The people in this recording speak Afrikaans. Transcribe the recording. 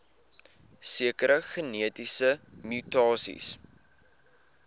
sekere genetiese mutasies